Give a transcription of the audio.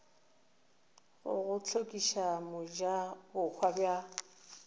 go go hlokiša mojabohwa bja